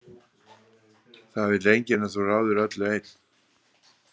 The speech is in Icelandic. Það vill enginn að þú ráðir öllu einn.